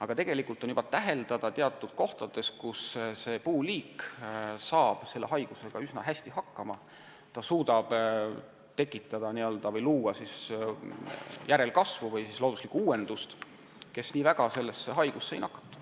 Aga tegelikult võib teatud kohtades juba praegu täheldada, et harilik saar saab selle haigusega üsna hästi hakkama ning suudab anda sellist järelkasvu või looduslikku uuendust, kes nii väga selle haigusega ei nakatu.